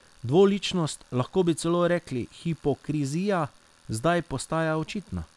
Dvoličnost, lahko bi celo rekli hipokrizija, zdaj postaja očitna.